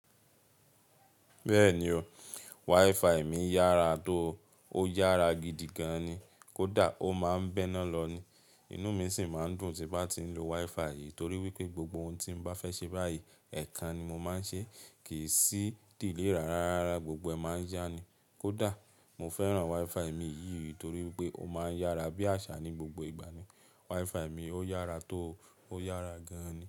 Bẹ́ẹ̀ni o, WiFi mi yára tó. Ó yára gidi gan an ni. Kódà ó máa ń bẹ́ ná lọ ni. Inú mi sì máa ń dùn tí bá ti ń lo WiFi yìí torí wípé gbogbo ohun tí n bá fẹ́ ṣe báyìí, ẹ̀kan ni mo máa ń ṣe. Kì í sí delay rá rá rárá, gbogbo ẹ̀ máa ń yá ni. Kódà mo fẹ́ràn WiFi mi yìí torí wípé ó máa ń yára bí àṣá ní gbogbo ìgbà ni. WiFi mi ó yára tó, ó yára gan ni.